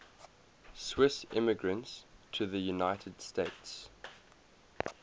swiss immigrants to the united states